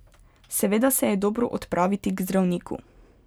Seveda se je dobro odpraviti k zdravniku.